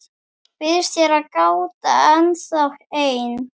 Býðst hér gáta ennþá ein,.